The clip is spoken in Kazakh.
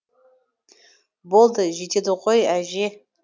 болды жетеді ғой әже